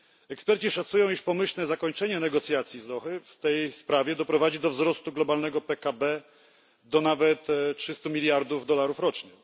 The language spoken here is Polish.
Eksperci szacują, iż pomyślne zakończenie negocjacji z Ad Dauhy w tej sprawie doprowadzi do wzrostu globalnego PKB do nawet 300 miliardów dolarów rocznie.